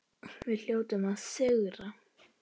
Við hljótum að sigra